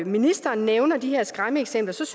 ministeren nævner de her skræmmeeksempler synes